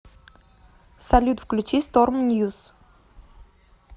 салют включи сторм ньюс